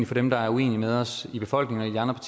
få dem der er uenige med os i befolkningen og